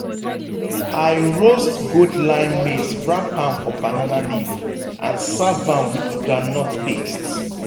i roast gold line maize wrap am for banana leaf and serve am with groundnut paste.